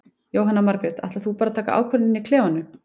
Jóhanna Margrét: Ætlar þú bara að taka ákvörðun inn í klefanum?